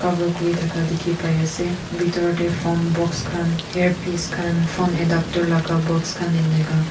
aro kuri thakha dekhi pai ase bithor de phone box khan ear piece khan phone adaptor laka box khan enika.